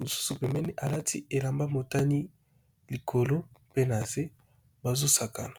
mosusu alati elamba ya motane likolo nase bazo sakana.